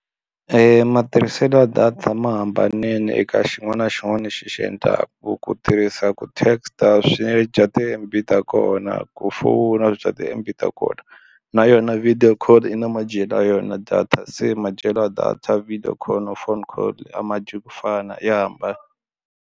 E matirhiselo ya data ma hambanile eka xin'wana na xin'wana lexi xi endlaku ku tirhisa ku text a swi dya ti-M_B ta kona ku fowuna bya ti-M_B ta kona na yona video call i na madyelo ya yona data se madyelo ya data video call na phone call a ma dyi ku fana ya hambana.